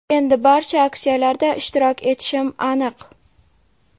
Endi barcha aksiyalarda ishtirok etishim aniq.